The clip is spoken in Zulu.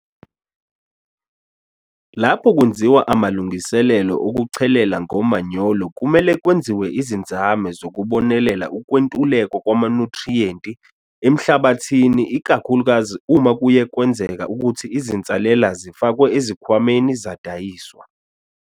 Lapho kwenziwa amalungiselelo okuchelela ngomanyolo kumele kwenziwe izinzame zokubonelela ukwentuleka kwamanyuthriyenti amhlabathini ikakhulukazi uma kuye kwenzeka ukuthi izinsalela zifakwe ezikhwameni zadayiswa.